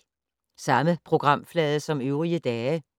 Samme programflade som øvrige dage